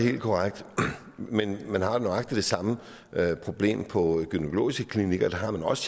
helt korrekt men man har nøjagtig det samme problem på gynækologiske klinikker der har man også